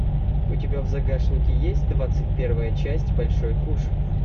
у тебя в загашнике есть двадцать первая часть большой куш